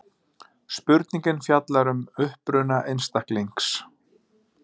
Spurningin fjallar um uppruna einstaklings.